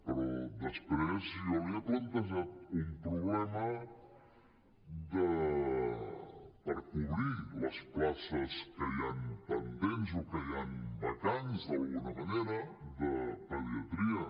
però després jo li he plantejat un problema per cobrir les places que hi han pendents o que hi ha vacants d’alguna manera de pediatria